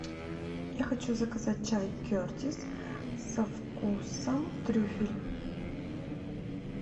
я хочу заказать чай кертис со вкусом трюфель